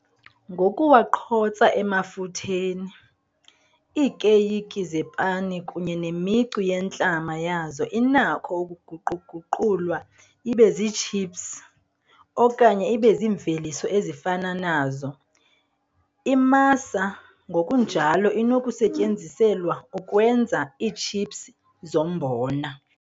Ngokuwaqhotsa emafutheni, iikeyiki zepani kunye nemicu yentlama yazo inakho ukuguqu-guqulwa ibe ziitshipsi, okanye ibe ziimveliso ezifana nazo. Imasa ngokunjalo inokusetyenziselwa ukwenza iitshipsi zombona.